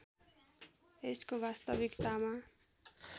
यसको वास्तविकतामा